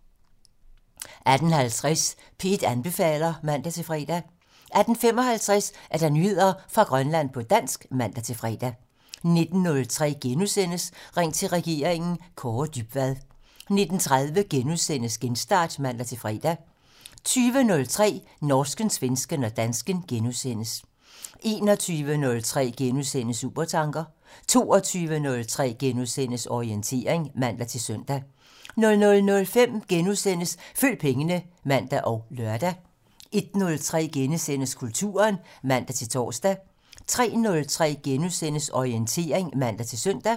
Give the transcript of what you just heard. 18:50: P1 anbefaler (man-fre) 18:55: Nyheder fra Grønland på dansk (man-fre) 19:03: Ring til regeringen: Kaare Dybvad * 19:30: Genstart *(man-fre) 20:03: Norsken, svensken og dansken *(man) 21:03: Supertanker *(man) 22:03: Orientering *(man-søn) 00:05: Følg pengene *(man og lør) 01:03: Kulturen *(man-tor) 03:03: Orientering *(man-søn)